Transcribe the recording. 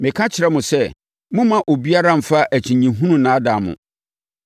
Meka kyerɛ mo sɛ, mommma obiara mfa akyinnyehunu nnaadaa mo.